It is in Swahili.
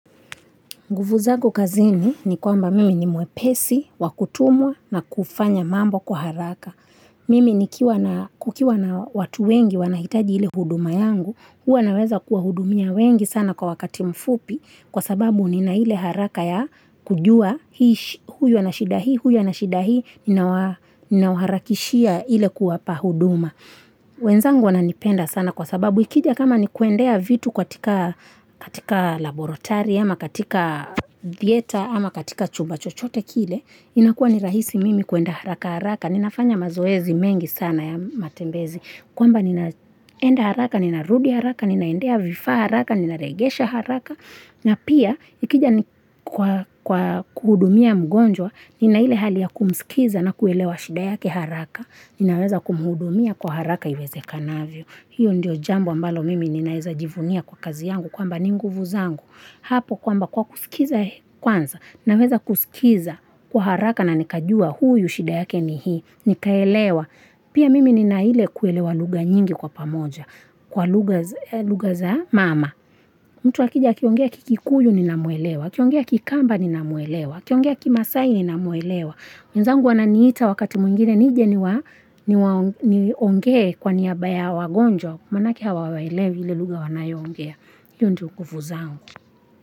Nguvu zako kazini ni kwamba mimi ni mwepesi, wakutumwa na kufanya mambo kuharaka. Mimi ni kukiwa na watu wengi wanahitaji hile huduma yangu, huwa naweza kuwa hudumia wengi sana kwa wakati mfupi kwa sababu nina hile haraka ya kujua huyu anashidahi, huyu anashidahi, ninauharakishia hile kuwa pahuduma. Wenzangu wananipenda sana kwa sababu ikija kama ni kuendea vitu katika laborotari ama katika thieta ama katika chuba chochote kile inakua ni rahisi mimi kuenda haraka haraka Ninafanya mazoezi mengi sana ya matembezi kuamba ninaenda haraka, ninarudi haraka, ninaendea vifa haraka, ninarejesha haraka na pia ikija kwa kwa kuhudumia mgonjwa, ninaile hali ya kumskiza na kuelewa shida yake haraka Ninaweza kumhudumia kwa haraka iweze kanavyo hiyo ndio jambo ambalo mimi ninaweza jivunia kwa kazi yangu Kwa mba ninguvu zangu Hapo kwa mba kwa kusikiza kwanza Ninaweza kusikiza kwa haraka na nikajua huyu shida yake ni hii Nikaelewa Pia mimi ninaile kuelewa lugha nyingi kwa pamoja Kwa lugha za mama mtu akija kiongea kikuyu ninamuelewa Kiongea kikamba ninamuelewa Kiongea kimasai ninamuelewa wezangu wananiita wakati mwingine nije ni wa nionge kwa niyaba ya wagonjwa, manake hawaelewiili lugha wanayoongea. Hiyo ndio nguvu zangu.